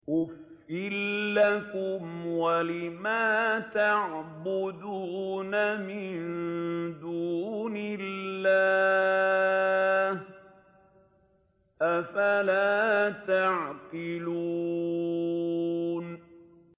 أُفٍّ لَّكُمْ وَلِمَا تَعْبُدُونَ مِن دُونِ اللَّهِ ۖ أَفَلَا تَعْقِلُونَ